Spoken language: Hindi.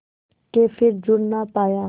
के फिर जुड़ ना पाया